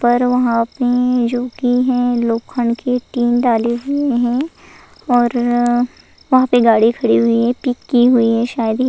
पर वहाँ पे जो कि है लोखंड के टीन डाले हुई हैं और अ वहाँ पे गाड़ी खड़ी हुई है पिक की हुई है शायद ही --